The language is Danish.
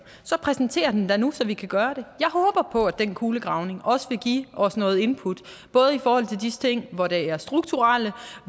så præsenter den da nu så vi kan gøre det jeg håber på at den kulegravning også vil give os noget input både i forhold til hvor der er strukturelle